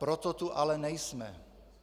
Proto tu ale nejsme.